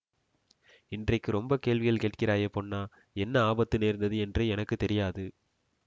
இன்றைக்கு ரொம்ப கேள்விகள் கேட்கிறாயே பொன்னா என்ன ஆபத்து நேர்ந்தது என்று எனக்கு தெரியாது